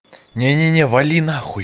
не не не вали на хуй